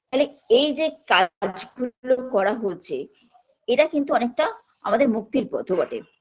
তালে এই যে কাজগুলো করা হচ্ছে এরা কিন্তু অনেকটা আমাদের মুক্তির পথও বটে